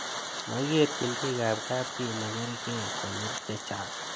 Makikerchin pik ab kapchi ne karkei konyil chechang'